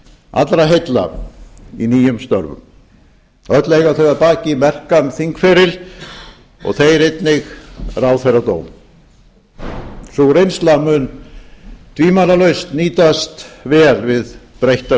allra heilla í nýjum störfum öll eiga þau að baki merkan þingferil og þeir einnig ráðherradóm sú reynsla mun tvímælalaust nýtast vel við breyttar